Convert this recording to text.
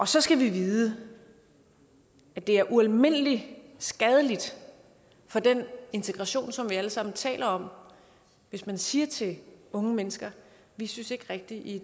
så skal vi vide at det er ualmindelig skadeligt for den integration som vi alle sammen taler om hvis man siger til unge mennesker vi synes ikke rigtig i